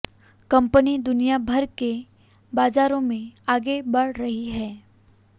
company दुनिया भर के बाजारों में आगे बढ़ रही है